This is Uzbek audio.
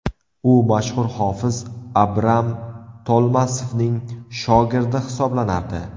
U mashhur hofiz Abram Tolmasovning shogirdi hisoblanardi.